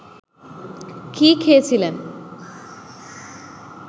কি খেয়ে ছিলেন